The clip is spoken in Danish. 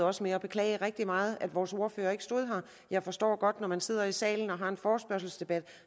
også med at beklage rigtig meget at vores ordfører ikke stod her jeg forstår godt når man sidder i salen og har en forespørgselsdebat